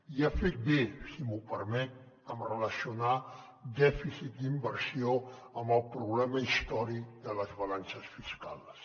i ha fet bé si m’ho permet de relacionar dèficit i inversió amb el problema històric de les balances fiscals